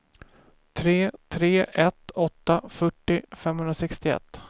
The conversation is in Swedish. tre tre ett åtta fyrtio femhundrasextioett